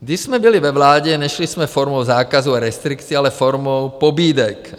Když jsme byli ve vládě, nešli jsme formou zákazu a restrikcí, ale formou pobídek.